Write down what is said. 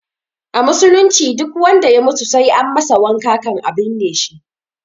A musulunci duk wanda ya mutu sai an masa wanka kan a binne shi